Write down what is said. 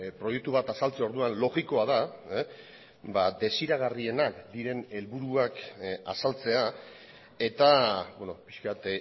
proiektu bat azaltze orduan logikoa da desiragarrienak diren helburuak azaltzea eta pixka bat